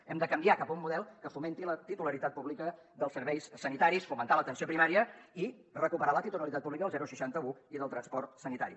hem de canviar cap a un model que fomenti la titularitat pública dels serveis sanitaris fomentar l’atenció primària i recuperar la titularitat pública del seixanta un i del transport sanitari